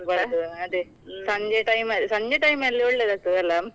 ಅದೇ time ಅಲ್ ಸಂಜೆ time ಅಲ್ಲಿ ಒಳ್ಳೇದಾಗ್ತದೆ ಅಲ್ಲ?